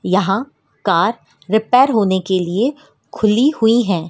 यहां car repair होने के लिए खुली हुई है।